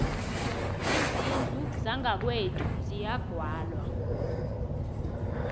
izindlu zangakwethu ziyagwalwa